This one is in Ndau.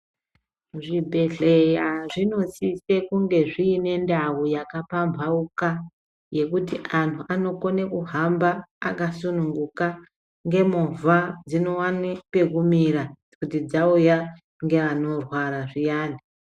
Zvibhedhlera zvinosise kunge zviine ndau dzakapamhauka yekuti antu anokona kuhamba akasununguka, ngemovha dzinowane pekumira dzauya nevantu vanorwara zviyani.